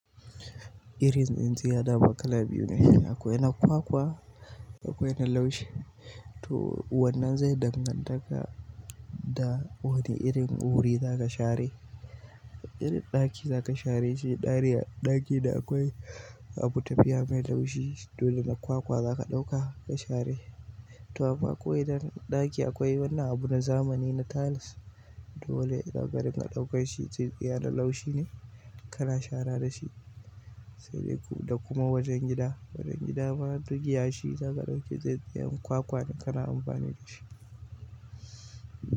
Irinin ziyada bakala biyu ne. Akwai na kwakwa, akwai na laushi to wannan zai danganta da wane irin wuri za ka share. In ɗaki za ka share shi, ɗaki da akwai abu tafiya mai laushi dole na kwakwa za ka ɗauka ka share. To amma ko idan ɗaki akwai wannan abu na zamani na tiles dole ka ga ringa ɗauka shi tsintsiya mai laushi ne ka na shara da shi. Sai dai ku-- da kuma wajen gida, wajen gida ma duk yashi za ka ɗauki tsintsiyar kwakwa ne ka na amfani da shi.